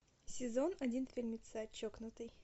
сезон один фильмеца чокнутый